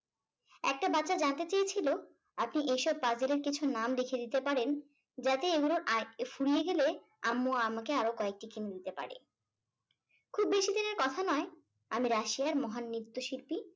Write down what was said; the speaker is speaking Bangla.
একটা বাচ্চা জানতে চেয়েছিল আপনি এসব puzzle এর কিছু নাম রেখে দিতে পারেন। যাতে এগুলোর আর ফুরিয়ে গেলে আম্মু আমাকে আরো কয়েকটা কিনে দিতে পারে । খুব বেশি দিনের কথা নয় আমি রাশিয়ার মহান নৃত্যশিল্পী